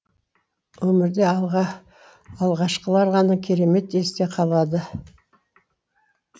өмірде алғашқылар ғана керемет есте қалады